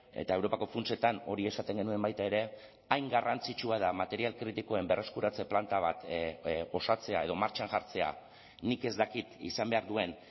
eta europako funtsetan hori esaten genuen baita ere hain garrantzitsua da material kritikoen berreskuratze planta bat osatzea edo martxan jartzea nik ez dakit izan behar duen